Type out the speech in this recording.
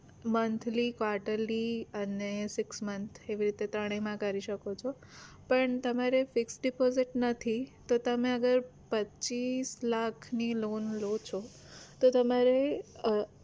monthly, quarterly અને six month એવી રીતે ત્રણેયમાં કરી શકો છો પણ તમારે fix deposit નથી તો તમે અગર પચ્ચીસ લાખ ની loan લો છો તો તમારે